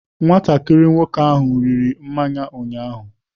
Nwatakịrị nwoke ahụ riri mmanya ụnyaahụ.